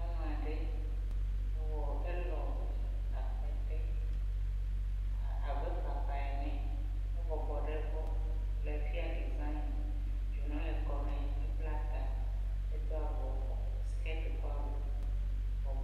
Nyɔnu aɖe, elɔ akpe te abe papaa ene, ebɔbɔ nɔ ɖe egbɔ le fia design na, dzonu le kɔ ne ebla ta. Edo avɔ skiti kple awu.